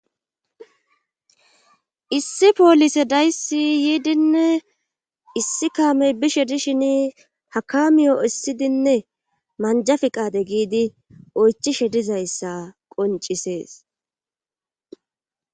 issi poolise dayssi yiidinne issi kaamey bishe dishin ha kamiyo essidinne manjaf mqade giidi oychishe dizayssa qoncisees